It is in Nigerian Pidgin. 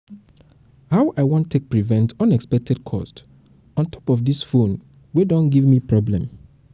how i wan take prevent unexpected cost on top dis my phone wey don dey give me problem